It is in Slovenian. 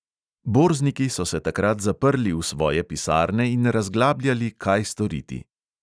Borzniki so se takrat zaprli v svoje pisarne in razglabljali, kaj storiti.